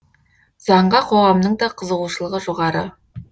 заңға қоғамның да қызығушылығы жоғары